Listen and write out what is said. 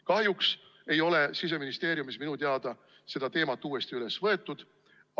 Kahjuks ei ole Siseministeeriumis minu teada seda teemat uuesti üles võetud.